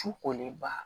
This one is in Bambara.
Su kolenba